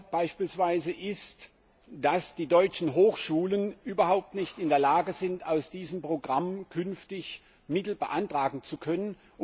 Ein Fall ist beispielsweise, dass die deutschen Hochschulen überhaupt nicht in der Lage sind, aus diesem Programm künftig Mittel beantragen zu können.